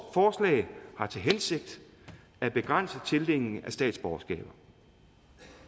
forslag har til hensigt at begrænse tildelingen af statsborgerskaber